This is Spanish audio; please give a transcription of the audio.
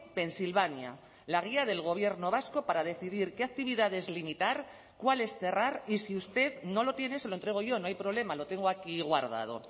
pensilvania la guía del gobierno vasco para decidir qué actividades limitar cuales cerrar y si usted no lo tiene se lo entrego yo no hay problema lo tengo aquí guardado